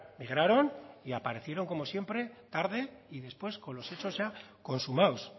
migraron y aparecieron como siempre tarde y después con los hechos ya consumados